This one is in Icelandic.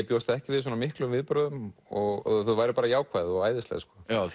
bjóst ekki við svona miklum viðbrögðum og þau væru bara jákvæð og æðisleg